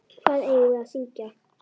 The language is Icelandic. Hvað eigum við að syngja?